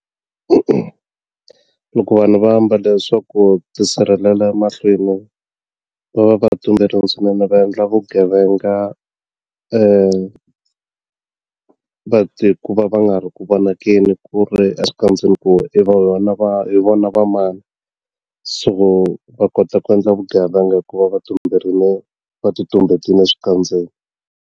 E-e, loko vanhu va ambale swaku ti sirhelela mahlweni va va va swinene va endla vugevenga ku va va nga ri ku vonakeni ku ri exikandzeni ku i vona va hi vona va mani so va kota ku endla vugevenga ku va va tumberile va ti tumbetini eswikandzeni.